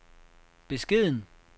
beskeden